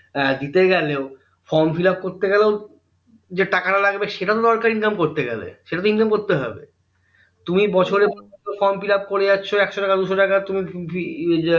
আহ দিতে গেলেও form fillup করতে গেলেও যে টাকা টা লাগবে সেটা তো দরকার income করতে গেলে সেটা তো income করতে হবে তুমি বছরের পর বছর form fillup করে যাচ্ছ একশো টাকা দুশো টাকা তুমি উহ আহ